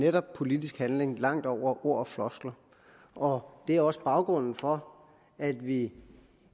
netop politisk handling langt ud over ord og floskler og det er også baggrunden for at vi